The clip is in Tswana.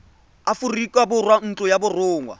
aforika borwa ntlo ya borongwa